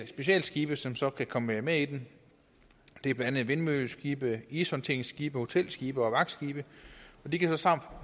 specialskibe som så kan komme med i den det er blandt andet vindmølleskibe ishåndteringsskibe hotelskibe og vagtskibe og de kan